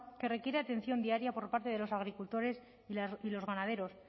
que requiere atención diaria por parte de los agricultores y los ganaderos